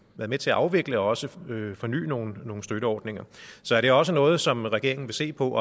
med til at afvikle og også forny forny nogle nogle støtteordninger så er det også noget som regeringen vil se på